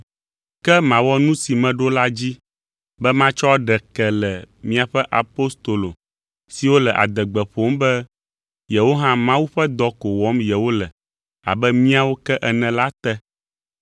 Ke mawɔ nu si meɖo la dzi be matsɔ ɖe ke le miaƒe apostolo siwo le adegbe ƒom be yewo hã Mawu ƒe dɔ ko wɔm yewole abe míawo ke ene la te.